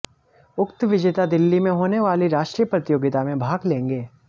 उक्त विजेता दिल्ली में होने वाली राष्ट्रीय प्रतियोगिता में भाग लेंगे